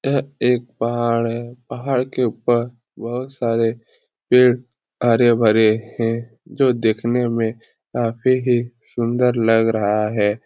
यह एक पहाड़ है पहाड़ के ऊपर बहुत सारे पेड़ हरे-भरे हैं जो देखने में काफी ही सुंदर लग रहा है।